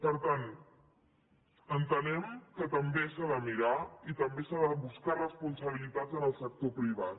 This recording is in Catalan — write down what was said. per tant entenem que també s’ha de mirar i també s’han de buscar responsabilitats en el sector privat